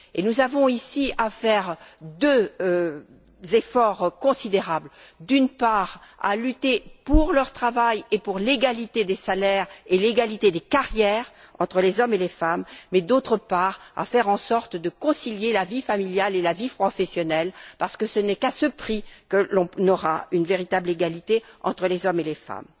Nous avons ici à faire deux efforts considérables d'une part, lutter pour leur travail et pour l'égalité des salaires et l'égalité des carrières entre les hommes et les femmes mais, d'autre part, faire en sorte de concilier la vie familiale et la vie professionnelle, parce que ce n'est qu'à ce prix que l'on aura une véritable égalité entre les hommes et les femmes.